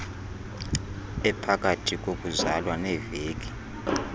ephakathi kokuzalwa neeveki